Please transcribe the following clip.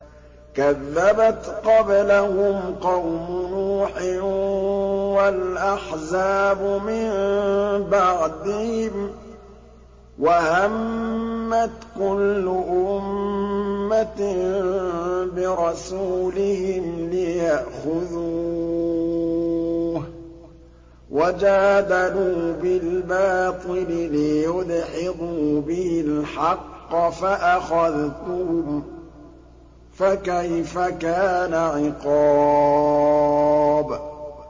كَذَّبَتْ قَبْلَهُمْ قَوْمُ نُوحٍ وَالْأَحْزَابُ مِن بَعْدِهِمْ ۖ وَهَمَّتْ كُلُّ أُمَّةٍ بِرَسُولِهِمْ لِيَأْخُذُوهُ ۖ وَجَادَلُوا بِالْبَاطِلِ لِيُدْحِضُوا بِهِ الْحَقَّ فَأَخَذْتُهُمْ ۖ فَكَيْفَ كَانَ عِقَابِ